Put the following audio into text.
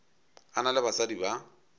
a na le basadi ba